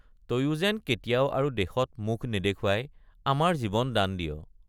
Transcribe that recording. তয়ো যেন কেতিয়াও আৰু দেশত মুখ নেদেখুৱাই আমাৰ জীৱ দান দিয়।